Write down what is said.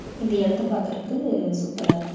இந்த எடத்த பாக்கறக்கு சூப்பரா இருக்கு.